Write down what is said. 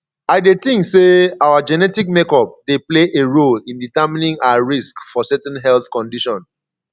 i dey think say our genetic makeup dey play a role in determining our risk for certain health condition